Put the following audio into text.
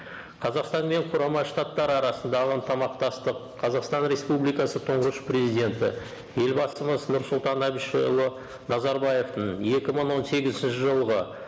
қазақстан мен құрама штаттар арасындағы ынтымақтастық қазақстан республикасы тұнғыш президенті елбасымыз нұрсұлтан әбішұлы назарбаевтың екі мың он сегізінші жылғы